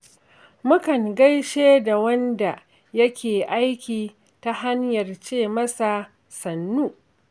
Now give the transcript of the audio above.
Mukan gaishe da wanda yake aiki ta hanyar ce masa "Sannu".